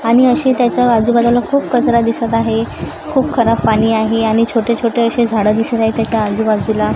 आणि अशे त्याच्या आजूबाजूला खूप कचरा दिसत आहे खूप खराब पाणी आहे आणि छोटे-छोटे असे झाड दिसत आहे त्याच्या आजूबाजूला.